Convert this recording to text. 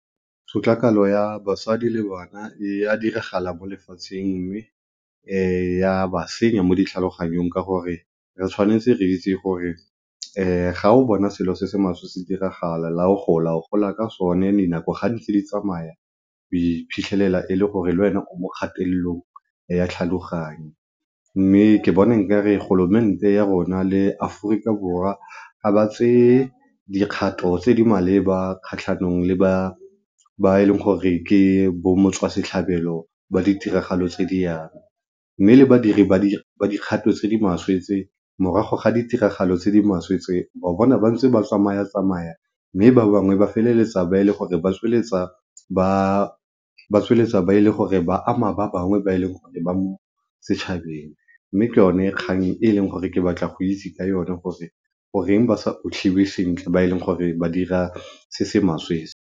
Tshotlakalo ya basadi le bana e a diragala mo lefatsheng mme ya ba senya mo ditlhaloganyong ka gore re tshwanetse re itse gore ga o bona selo se se maswe se diragala le ga o gola o gola ka sone, dinako ga ntse di tsamaya o iphitlhelela le gore le wena o mo kgatelelong ya tlhaloganyo mme ke bona nkare ya rona le Aforika Borwa ga ba tseye dikgato tse di maleba kgatlhanong le ba, ba e leng gore ke bo motswasetlhabelo ba ditiragalo tse di yalo. Mme le badiri ba dikgato tse di maswe tse morago ga ditiragalo tse di maswe tse o bona ba ntse ba tsamaya-tsamaya mme ba bangwe ba feleletsa ba e le gore ba tsweletsa ba ama ba bangwe ba e le gore ba mo setšhabeng mme ke yone kgang e leng gore ke batla go itse ka yone gore goreng ba sa otlhiwe sentle ga e le gore ba dira se se maswe.